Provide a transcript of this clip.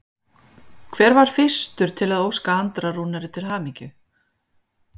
Hver var fyrstur til að óska Andra Rúnari til hamingju?